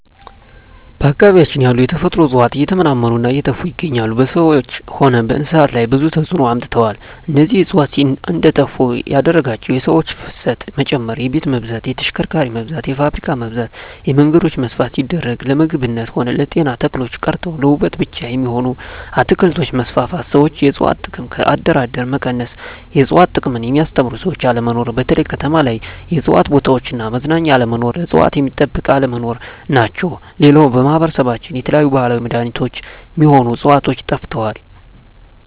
በአካባቢያችን ያሉ የተፈጥሮ እጽዋት እየተመናመኑ እና እየጠፋ ይገኛሉ በሰዎች ሆነ በእንስሳት ላይ ብዙ ተጽዕኖ አምጥተዋል እነዚህ እጽዋት እንዴጠፋ ያደረጋቸው የሰው ፋሰት መጨመር የቤት መብዛት የተሽከርካሪ መብዛት የፋብሪካ መብዛት የመንገዶች መስፍን ሲደረግ ለምግብነት ሆነ ለጤና ተክሎች ቀርተው ለዉበት ብቻ የሚሆኑ አትክልቶች መስፋፋት ሠዎች የእጽዋት ጥቅም ከአደር አደር መቀነስ የእጽዋት ጥቅምን የሚያስተምሩ ሰዎች አለመኖር በተለይ ከተማ ላይ የእጽዋት ቦታዎች እና መዝናኛ አለመኖር እጽዋት ሚጠበቅ አለመኖር ናቸው ሌላው በማህበረሰባችን የተለያዩ የባህላዊ መዳኔቾች ሚሆኑ ህጽዋቾች ጠፍተዋል